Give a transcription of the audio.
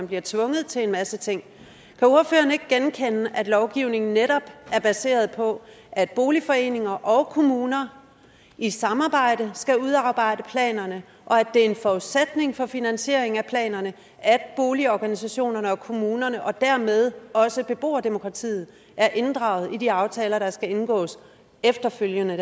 bliver tvunget til en masse ting kan ordføreren ikke genkende at lovgivningen netop er baseret på at boligforeninger og kommuner i samarbejde skal udarbejde planerne og at det er en forudsætning for finansieringen af planerne at boligorganisationerne og kommunerne og dermed også beboerdemokratiet er inddraget i de aftaler der skal indgås efterfølgende